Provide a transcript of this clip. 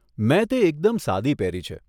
મેં તે એકદમ સાદી પહેરી છે.